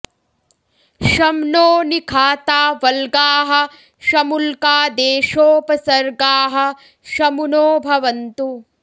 शं नो निखाता वल्गाः शमुल्का देशोपसर्गाः शमु नो भवन्तु